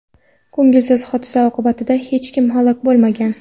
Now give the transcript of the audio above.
Ko‘ngilsiz hodisa oqibatida hech kim halok bo‘lmagan.